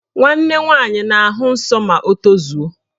Nwanne nwaanyị na-ahụ nsọ ma o tozuo